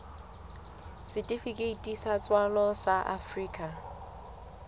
setifikeiti sa tswalo sa afrika